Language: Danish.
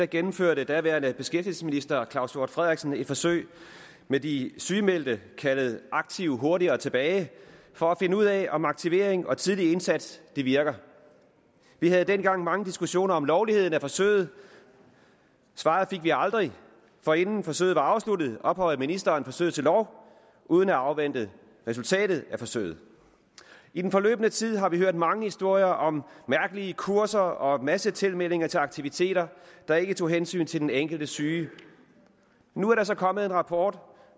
gennemførte daværende beskæftigelsesminister claus hjort frederiksen et forsøg med de sygemeldte kaldet aktive hurtigere tilbage for at finde ud af om aktivering og tidlig indsats virker vi havde dengang mange diskussioner om lovligheden af forsøget svaret fik vi aldrig for inden forsøget var afsluttet ophøjede ministeren forsøget til lov uden at afvente resultatet af forsøget i den forløbne tid har vi hørt mange historier om mærkelige kurser og massetilmelding til aktiviteter der ikke tog hensyn til den enkelte syge nu er der så kommet en rapport